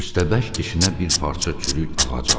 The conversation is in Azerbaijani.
Köstəbək dişinə bir parça çürük ağac aldı.